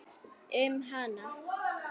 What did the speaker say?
Um hana?